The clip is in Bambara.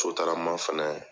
Sotarama fɛnɛ